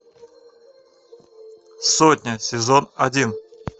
сотня сезон один